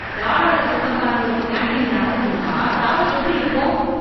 தாளாளர் சொந்தக்காரங்களுக்கு கேன்டீன் நடத்த கொடுத்தா தரம் எப்படி இருக்கும்?